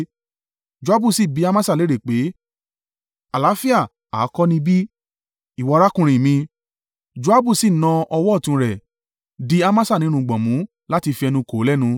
Joabu sì bi Amasa léèrè pé, “Àlàáfíà ha kọ́ ni bí, ìwọ arákùnrin mi?” Joabu sì na ọwọ́ ọ̀tún rẹ̀, di Amasa ní irùngbọ̀n mú láti fi ẹnu kò ó lẹ́nu.